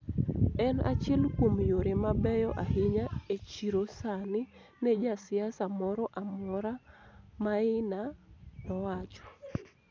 En achiel kuom yore mabeyo ahinya e chiro sani ne ja siasa moro amora,� Maina nowacho.